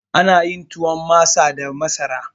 Ana yin tuwon masa da masara